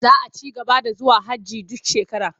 Za a ci gaba da zuwa hajji duk shekara.